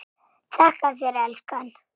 Þakka þér elskan.